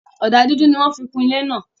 Ọdà dúdú ni wọn fí kún ilẹ̀ ná.